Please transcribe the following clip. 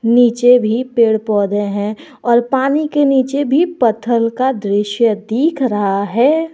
नीचे भी पेड़ पौधे हैं और पानी के नीचे भी पत्थल का दृश्य दिख रहा है।